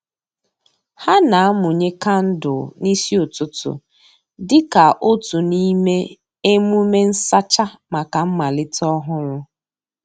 Ha na-amụnye kandụl n'isi ụtụtụ dịka otu n'ime emume nsacha maka mmalite ọhụrụ.